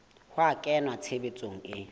ho a kenya tshebetsong e